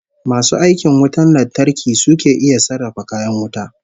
Masu aikin wutar lantarki su ke iya sarrafa kayan wuta